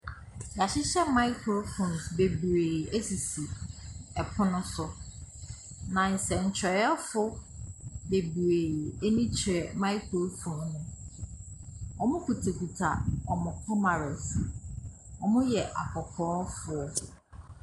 Yahyehyɛ maakrofons bebree esisi ɛpono so. Na nsɛnkyerɛwfo bebree eni kyerɛ maakrofon. Ɔmo kuta kuta ɔmo kamarɛs. Ɔmo yɛ akɔkɔɔfoɔ.